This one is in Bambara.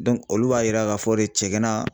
olu b'a yira k'a fɔ de cɛgana